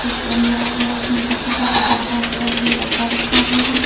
Stand लगा हुआ है उसमें काफी सारा डब्बा कलरफुल डब्बा रखा हुआ है।